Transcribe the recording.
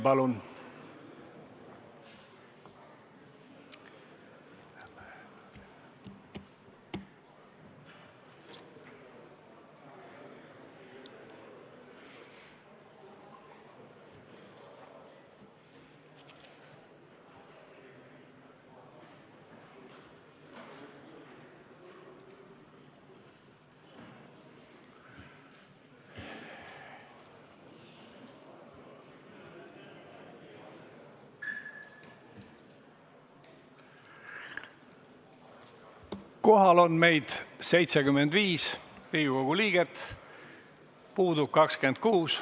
Kohaloleku kontroll Kohal on 75 Riigikogu liiget, puudub 26.